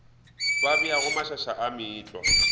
ba beago mašaša a meetlwa